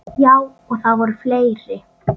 Já, og það voru fleiri.